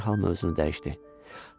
Və dərhal mövzunu dəyişdi.